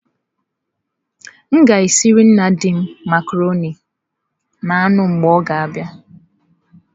M ga-esiere nna di m macarọnị na anụ mgbe ọ ga abia.